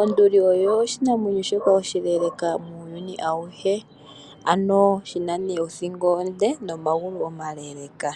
Onduli oyo oshi namwenyo shoka shoka oshileeleeka muuyuni auhe. Ano shi na ne othingo onde, nomagulu omaleeleeka.